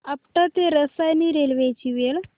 आपटा ते रसायनी रेल्वे ची वेळ